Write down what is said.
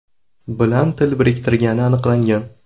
bilan til biriktirgani aniqlangan.